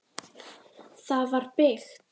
Það var byggt